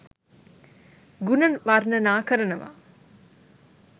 ගුණ වර්ණනා කරනව